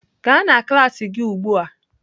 Gaa na klas gị ugbu a!